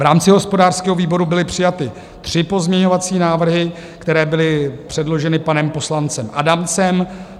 V rámci hospodářského výboru byly přijaty tři pozměňovací návrhy, které byly předloženy panem poslancem Adamcem.